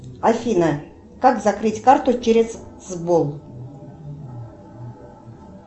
афина как закрыть карту через сбол